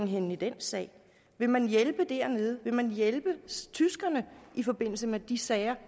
henne i den sag vil man hjælpe dernede vil man hjælpe tyskerne i forbindelse med de sager